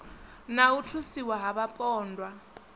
na u thusiwa ha vhapondwa